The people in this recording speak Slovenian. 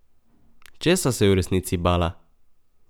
Česa se je v resnici bala?